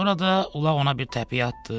Orada ulaq ona bir təpi atdı.